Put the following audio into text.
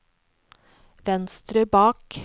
venstre bak